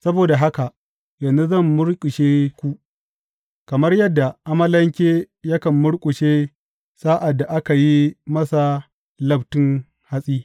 Saboda haka, yanzu zan murƙushe ku kamar yadda amalanke yakan murƙushe sa’ad da aka yi masa labtun hatsi.